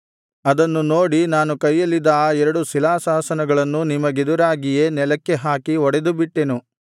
ಅದನ್ನು ನೋಡಿ ನಾನು ಕೈಯಲ್ಲಿದ್ದ ಆ ಎರಡು ಶಿಲಾಶಾಸನಗಳನ್ನು ನಿಮಗೆದುರಾಗಿಯೇ ನೆಲಕ್ಕೆ ಹಾಕಿ ಒಡೆದುಬಿಟ್ಟೆನು